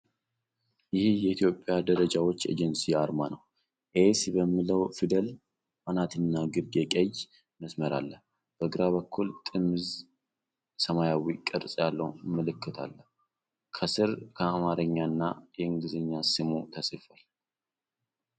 ይህ የኢትዮጵያ ደረጃዎች ኤጀንሲ አርማ ነው። ኤስ በሚለው ፊደል አናትና ግርጌ ቀይ መስመር አለ። በግራ በኩል ጥምዝ ሰማያዊ ቅርጽ ያለው ምልክት አለ። ከሥር የአማርኛና የእንግሊዝኛ ስሙ ተጽፏል።